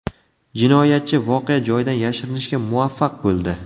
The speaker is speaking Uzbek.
Jinoyatchi voqea joyidan yashirinishga muvaffaq bo‘ldi.